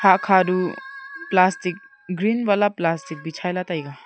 hat cha do plastic green wala plastic bichai ley taiga.